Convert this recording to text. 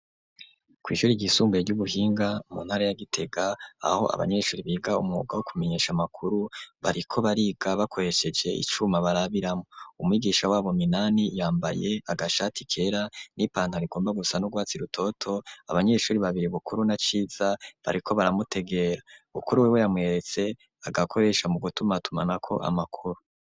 Kw'ishuri ryisumbuye ry'ubuhinga mu ntara ya Gitega aho abanyeshuri biga umwuga wo kumenyesha amakuru, bariko bariga bakoresheje icuma barabiramwo, umwigisha wabo Minani yambaye agashati kera n'ipantaro igomba gusa n'urwatsi rutoto, abanyeshuri babiri Bukuru na Ciza bariko baramutegera, Bukuru wewe yamweretse agakoresha mu gutumatumanako amakuru.